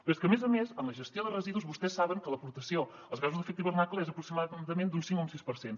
però és que a més a més en la gestió de residus vostès saben que l’aportació als gasos d’efecte hivernacle és aproximadament d’un cinc o un sis per cent